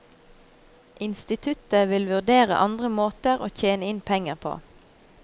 Instituttet vil vurdere andre måter å tjene inn pengene på.